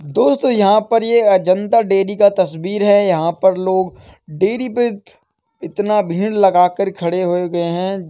दोस्तों यहाँ पर ये जनता डेरी का तस्वीर है। यहाँ पर लोग डेरी पे इतना भीड़ लगा कर खड़े हो गए है।